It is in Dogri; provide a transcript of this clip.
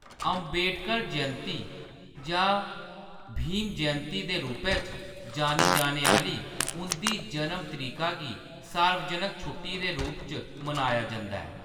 अम्बेडकर जयंती जां भीम जयंती दे रूपै च जानी जाने आह्‌‌‌ली उंʼदी जनम तरीका गी सार्वजनक छुट्टी दे रूप च मनाया जंदा ऐ।